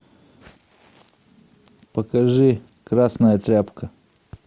покажи красная тряпка